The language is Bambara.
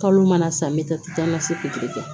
Kalo mana san me taa ma se puturu kɛ